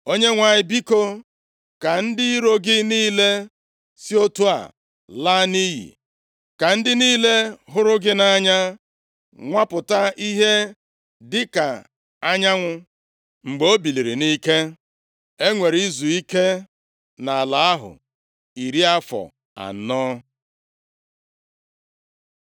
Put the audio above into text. “ Onyenwe anyị, biko, ka ndị iro gị niile si otu a laa nʼiyi. Ka ndị niile hụrụ gị nʼanya nwupụta ihe dịka anyanwụ mgbe o biliri nʼike.” E nwere izuike nʼala ahụ iri afọ anọ.